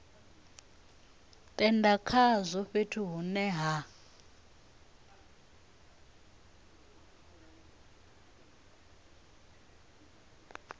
tenda khazwo fhethu hune ha